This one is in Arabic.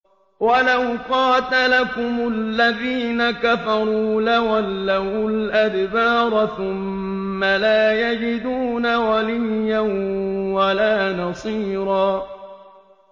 وَلَوْ قَاتَلَكُمُ الَّذِينَ كَفَرُوا لَوَلَّوُا الْأَدْبَارَ ثُمَّ لَا يَجِدُونَ وَلِيًّا وَلَا نَصِيرًا